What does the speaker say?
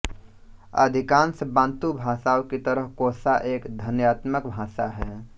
अधिकांश बाँतू भाषाओं की तरह कोसा एक ध्वन्यात्मक भाषा है